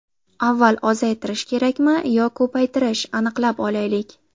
Avval ozaytirish kerakmi yo ko‘paytirish – aniqlab olaylik.